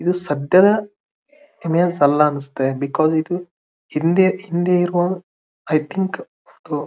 ಇದು ಸದ್ಯ ಇಮೇಜ್ ಅಲ್ಲಾ ಅನ್ನಸುತ್ತೆ ಬಿಕಾಸ್ಸ್ ಇದು ಹಿಂದೆ ಹಿಂದೆ ಇರುವ ಐ ಥಿಂಕ್